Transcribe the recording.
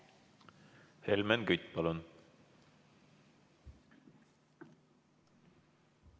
Helmen Kütt, palun!